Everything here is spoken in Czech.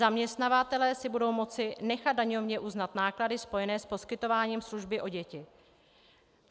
Zaměstnavatelé si budou moci nechat daňově uznat náklady spojené s poskytováním služby o děti.